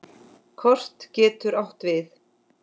Kort getur átt við